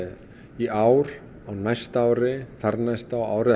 í ár næsta ári þar næsta ári